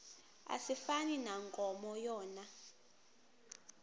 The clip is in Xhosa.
asifani nankomo yona